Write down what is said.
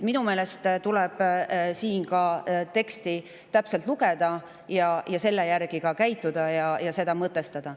Minu meelest tuleb siinkohal ka teksti täpselt lugeda ning selle järgi käituda ja seda mõtestada.